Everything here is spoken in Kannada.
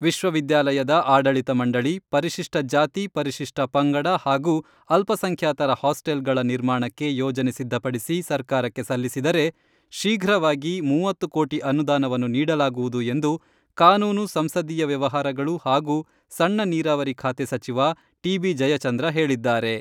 ವಿಶ್ವವಿದ್ಯಾಲಯದ ಆಡಳಿತ ಮಂಡಳಿ, ಪರಿಶಿಷ್ಟ ಜಾತಿ, ಪರಿಶಿಷ್ಟ ಪಂಗಡ ಹಾಗೂ ಅಲ್ಪಸಂಖ್ಯಾತರ ಹಾಸ್ಟೆಲ್ಗಳ ನಿರ್ಮಾಣಕ್ಕೆ ಯೋಜನೆ ಸಿದ್ಧಪಡಿಸಿ ಸರ್ಕಾರಕ್ಕೆ ಸಲ್ಲಿಸಿದರೆ ಶೀಘ್ರವಾಗಿ ಮೂವತ್ತು ಕೋಟಿ ಅನುದಾನವನ್ನು ನೀಡಲಾಗುವುದು ಎಂದು ಕಾನೂನು, ಸಂಸದೀಯ ವ್ಯವಹಾರಗಳು ಹಾಗೂ ಸಣ್ಣ ನೀರಾವರಿ ಖಾತೆ ಸಚಿವ ಟಿ ಬಿ ಜಯಚಂದ್ರ ಹೇಳಿದ್ದಾರೆ.